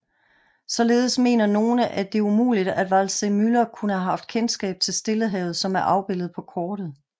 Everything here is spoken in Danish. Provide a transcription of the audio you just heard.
Således mener nogle at det er umuligt at Waldseemüller kunne have haft kendskab til Stillehavet som er afbilledet på kortet